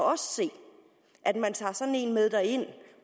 at man tager sådan en med derind